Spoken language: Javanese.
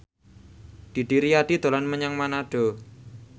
Didi Riyadi dolan menyang Manado